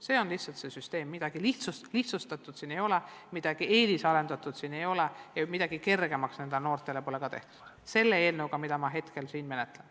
See on toimiv süsteem, midagi lihtsustatut siin ei ole, midagi eelisarendatut siin ei ole ja midagi kergemaks nendele noortele pole ka tehtud selle eelnõuga, mida ma hetkel siin kaitsen.